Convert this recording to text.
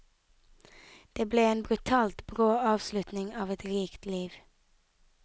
Det ble en brutalt brå avslutning av et rikt liv.